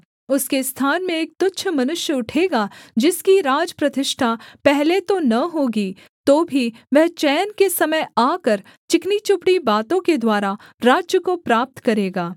उसके स्थान में एक तुच्छ मनुष्य उठेगा जिसकी राज प्रतिष्ठा पहले तो न होगी तो भी वह चैन के समय आकर चिकनीचुपड़ी बातों के द्वारा राज्य को प्राप्त करेगा